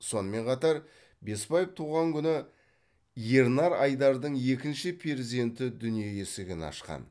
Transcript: сонымен қатар бесбаев туған күні ернар айдардың екінші перзенті дүние есігін ашқан